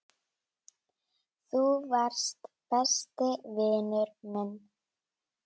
Þú varst besti vinur minn.